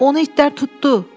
Onu itlər tutdu.